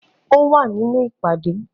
Ó wà nínú ìpàdé